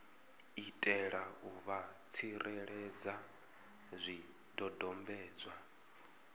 itela u vha tsireledza zwidodombedzwa